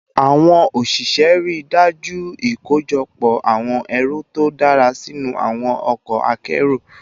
Awon osise rii daju ikojọpọ awọn ẹru to dara sinu awọn ọkọ akero